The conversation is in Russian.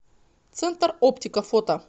центр оптика фото